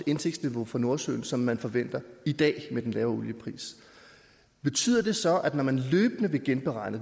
indsigtsniveau for nordsøen som man forventer i dag med den lave oliepris betyder det så når man løbende vil genberegne